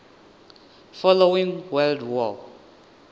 following world war